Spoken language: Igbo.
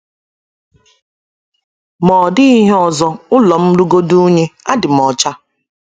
Ma ọ́ dịghị ihe ọzọ, ụlọ m rugodị unyí, adị m ọcha.